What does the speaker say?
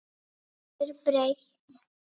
Brosir breitt.